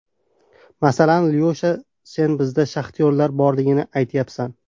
Masalan, Lyosha, sen bizda shaxtyorlar borligini aytyapsan.